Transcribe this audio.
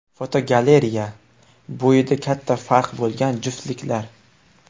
Fotogalereya: Bo‘yida katta farq bo‘lgan juftliklar.